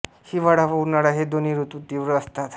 हिवाळा व उन्हाळा हे दोन्ही ऋतू तीव्र असतात